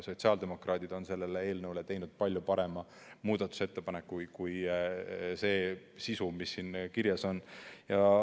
Sotsiaaldemokraadid on selle eelnõu kohta teinud palju parema muudatusettepaneku kui see sisu, mis siin kirjas on.